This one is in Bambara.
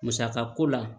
Musaka ko la